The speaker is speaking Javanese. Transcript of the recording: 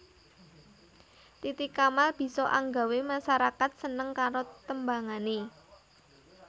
Titi Kamal bisa anggawé masarakat seneng karo tembangané